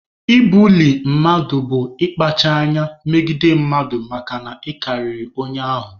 Ibuli mmadụ bụ ịkpacha anya megide mmadụ makana ị karịrị onye ahụ.